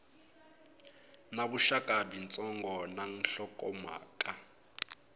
na vuxaka byitsongo na nhlokomhaka